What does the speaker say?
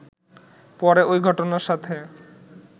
পরে ওই ঘটনার সাথে